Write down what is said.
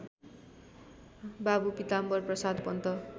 Babu Pitambarprasad Pant